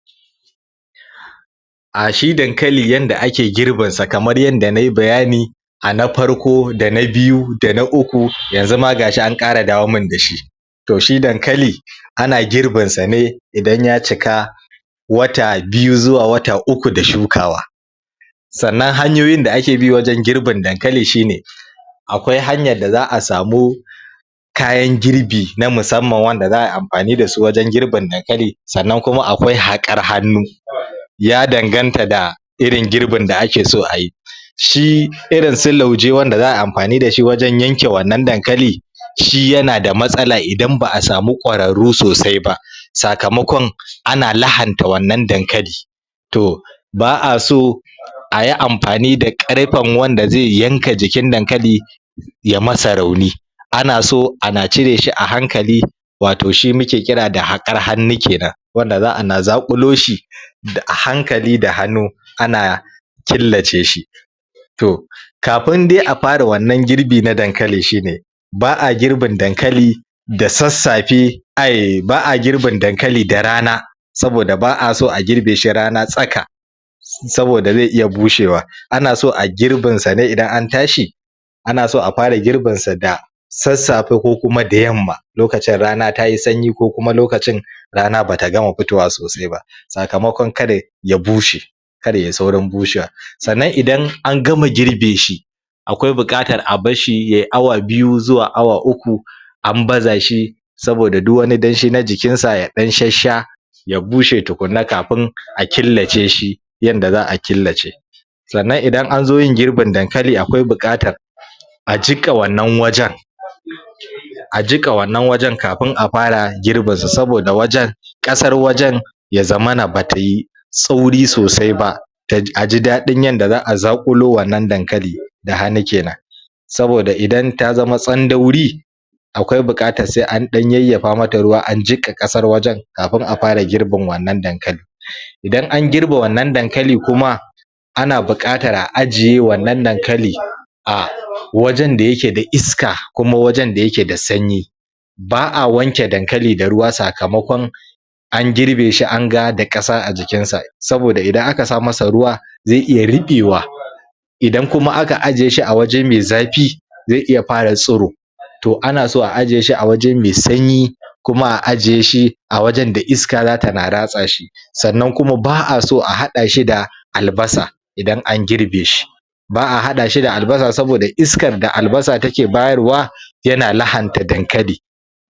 ? A shi Dankali yadda ake girbinsa kamar yadda nai bayani a na farko da na biyu da na uku yanzu ma ga shi an ƙara dawomin da shi to shi Dankali ana gorbinsa ne idan ya cika wata biyu zuwa wata uku da shukawa sannan hanyoyin da ake bi wajen girbin Dankali shi ne akwai hanyar da za a samu kayan girbi na musamman wanda za ai amfani da su wajen girbin Dankali sannan kuma akwai haƙar hannu? ya danganta da irin girbin a ake so ayi shi irin su lauje wanda za ai amfani da shi wajen yanke wannan dankali shi yana da matsala idan ba a samu kwararru sosai ba sakamakon ana lahanta wannan dankali to ba a so a yi amfani da ƙarfen wanda zai yanka jikin dankali ya masa rauni ana so ana cire shi a hankali wato shi muke kira da haƙar hannu kenan wanda za ana zaƙulo shi a hankali da hannu anan killace shi to kafin dai a fara wannan girbi na dankali shi ne ba a girbin dankali da sassafe ai ba a girbin dankali da rana saboda ba a so a girbe shi rana tsaka saboda zai iya bushewa ana so a girbinsa ne idan an tashi ana so a fara girbinsa da sassafe ko kuma da yamma lokacin rana ta yi sanyi ko kuma lokacin rana bata fitowa sosai ba sakamakon kada ya bushe kar yai saurin bushewa sannan idan angama girbe shi akwai buƙatar a bar shi yi awa biyu zuwa awa uku an baza shi saboda duk wani danshi na jikinsa ya ɗan shassha ya bushe tukuna kafin a killace shi yadda za a killace sannan idan zo yin girbin Dankali akwai buƙatar a jiƙa wannan wajen? a jiƙa wannan wajen kafin a fara girbinsa saboda a wajen ƙasar wajen ya zamana bata yi tsauri sosai ba a ji ɗaɗin yadda za a zaƙulo wannan Dankali da hannu kenan saboda idan ta zama tsandauri akwai buƙatar sai an ɗan yayyafa mata ruwa a jiƙa ƙasar wajen kafin a fara girbin wannan Dankali idan an girbe wannan Dankali kuma ana buƙatar a ajiye wannan Dankali a wajen da yake da iska kuma wajenda yake da sanyi ba a wanke Dankali da ruwa sakamakon an girbe shi an ga da ƙasa a jikinsa saboda idan aka sa masa ruwa zai iya ruɓewa idan kuma aka ajiye a waje mai zafi zai iya fara tsiro to ana so a ajiye shi waje mai sanyi kuma a ajiye shi a wajen da iska zatana ratsa shi sannan kuma ba a so a haɗa shi da Albasa idan an girbe shi ba a haɗa shi da Albasa saboda iskar da Albasa take bayarwa yana lahanta dankali